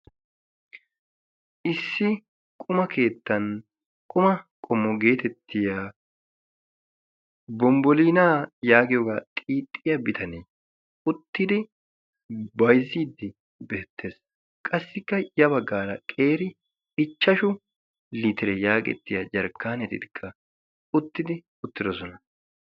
issi quma keettan quma qomo geetettiya bombbolinaa yaagiyoogaa xixxiya bitanee uttidi bayzzidi beettees qassikka ya baggaara qeeri ichchashu litire yaagettiya jarkkaanetikka uttidi uttidosona